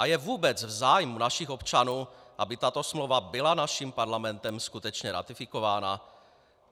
A je vůbec v zájmu našich občanů, aby tato smlouva byla naším Parlamentem skutečně ratifikována?